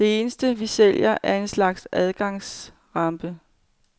Det eneste, vi sælger, er en slags adgangsrampe.